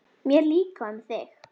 Mér líka um þig.